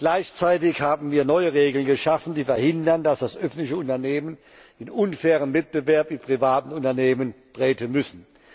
Gleichzeitig haben wir neue Regeln geschaffen, die verhindern, dass öffentliche Unternehmen in unfairen Wettbewerb mit privaten Unternehmen treten müssen.